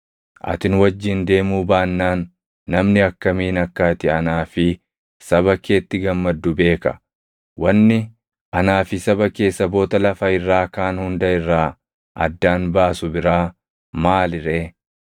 Ati nu wajjin deemuu baannaan namni akkamiin akka ati anaa fi saba keetti gammaddu beeka? Wanni anaa fi saba kee saboota lafa irraa kaan hunda irraa addaan baasu biraa maali ree?”